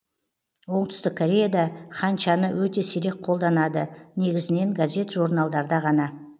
оңтүстік кореяде ханчаны өте сирек қолданады негізінен газет журналдарда ғана